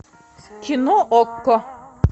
кино окко